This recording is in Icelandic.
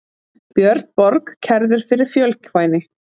Björn Borg kærður fyrir fjölkvæni